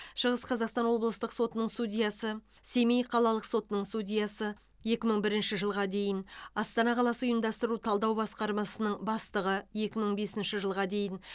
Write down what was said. шығыс қазақстан облыстық сотының судьясы семей қалалық сотының судьясы екі мың бірінші жылға дейін астана қаласы ұйымдастыру талдау басқармасының бастығы екі мың бесінші жылға дейін